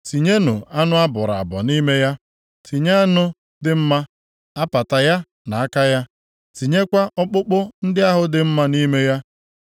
Tinyenụ anụ a bọrọ abọ nʼime ya. Tinye anụ dị mma, apata ya na aka ya. Tinyekwa ọkpụkpụ ndị ahụ dị mma nʼime ya.